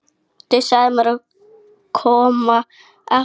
Þau sögðu mér að koma aftur á morgun, svaraði Lóa.